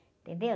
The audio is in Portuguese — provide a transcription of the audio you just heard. Entendeu?